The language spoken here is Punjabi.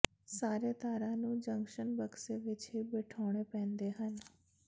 ਸਾਰੇ ਤਾਰਾਂ ਨੂੰ ਜੰਕਸ਼ਨ ਬਕਸੇ ਵਿੱਚ ਹੀ ਬਿਠਾਉਣੇ ਪੈਂਦੇ ਹਨ